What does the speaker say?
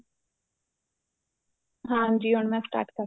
ਹਾਂਜੀ ਹੁਣ ਮੈਂ start ਕਰਤਾ